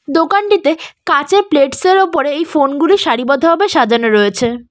দোকানটিতে কাঁচের প্লেটস -এর ওপরে এই ফোন -গুলি সারিবদ্ধ ভাবে সাজানো রয়েছে।